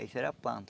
Isso era planta.